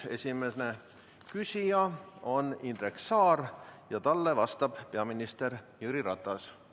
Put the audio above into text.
Esimene küsija on Indrek Saar ja talle vastab peaminister Jüri Ratas.